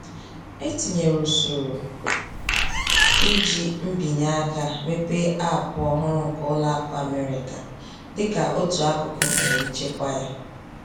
Etinyere usoro iji mbinyeaka mepee Aapụ ọhụrụ nke Ụlọakụ Amerika, dịka otú akụkụ nke nchekwa ya